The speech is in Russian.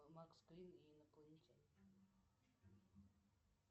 макс грин и инопланетяне